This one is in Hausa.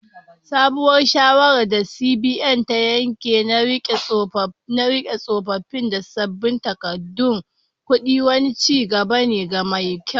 Sabuwar shawarar da CBN ta yanke na rike tsofaffin da sabbin takardun kudi, wani ci gaba ne mai kyau.